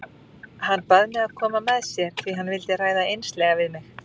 Hann bað mig að koma með sér því hann vildi ræða einslega við mig.